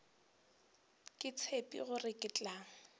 ke tshepe gore ke tla